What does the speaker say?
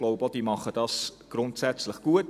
Ich denke, sie machen es grundsätzlich gut.